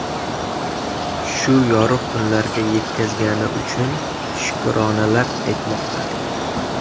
Shu yorug‘ kunlarga yetkazgani uchun shukronalar aytmoqda.